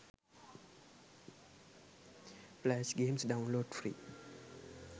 flash games download free